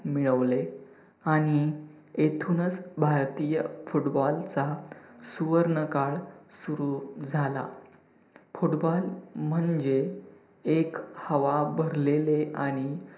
मिळवले आणि येथूनच भारतीय football चा सुवर्ण काळ सुरू झाला. football म्हणजे एक हवा भरलेले आणि